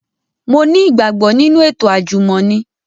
Mo ni igbagbo ninu eto ajumọni